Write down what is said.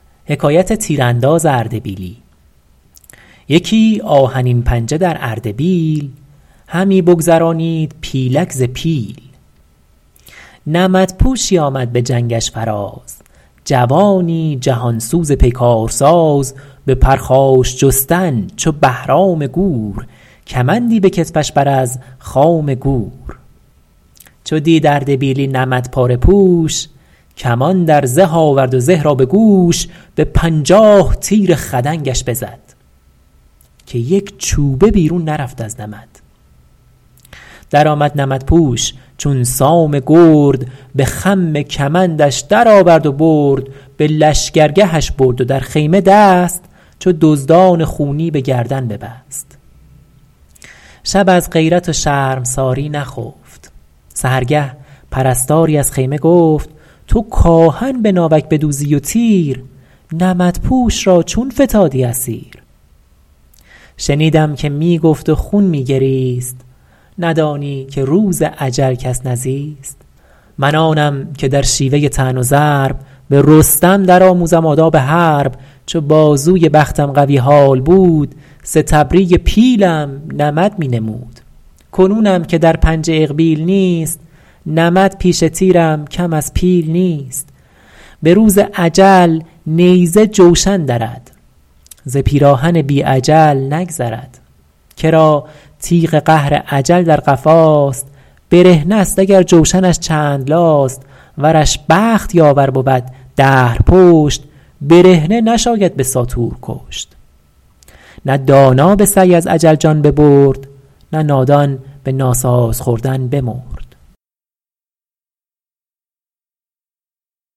یکی آهنین پنجه در اردبیل همی بگذرانید پیلک ز پیل نمد پوشی آمد به جنگش فراز جوانی جهان سوز پیکار ساز به پرخاش جستن چو بهرام گور کمندی به کتفش بر از خام گور چو دید اردبیلی نمد پاره پوش کمان در زه آورد و زه را به گوش به پنجاه تیر خدنگش بزد که یک چوبه بیرون نرفت از نمد درآمد نمدپوش چون سام گرد به خم کمندش درآورد و برد به لشکرگهش برد و در خیمه دست چو دزدان خونی به گردن ببست شب از غیرت و شرمساری نخفت سحرگه پرستاری از خیمه گفت تو کآهن به ناوک بدوزی و تیر نمدپوش را چون فتادی اسیر شنیدم که می گفت و خون می گریست ندانی که روز اجل کس نزیست من آنم که در شیوه طعن و ضرب به رستم در آموزم آداب حرب چو بازوی بختم قوی حال بود ستبری پیلم نمد می نمود کنونم که در پنجه اقبیل نیست نمد پیش تیرم کم از پیل نیست به روز اجل نیزه جوشن درد ز پیراهن بی اجل نگذرد کرا تیغ قهر اجل در قفاست برهنه ست اگر جوشنش چند لاست ورش بخت یاور بود دهر پشت برهنه نشاید به ساطور کشت نه دانا به سعی از اجل جان ببرد نه نادان به ناساز خوردن بمرد